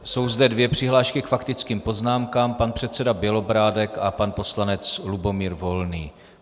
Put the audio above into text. Jsou zde dvě přihlášky k faktickým poznámkám - pan předseda Bělobrádek a pan poslanec Lubomír Volný.